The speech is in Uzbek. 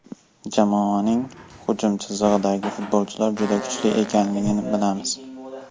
Jamoaning hujum chizig‘idagi futbolchilar juda kuchli ekanini bilamiz.